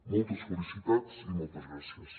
moltes felicitats i moltes gràcies